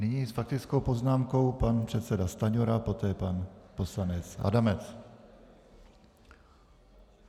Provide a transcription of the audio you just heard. Nyní s faktickou poznámkou pan předseda Stanjura, poté pan poslanec Adamec.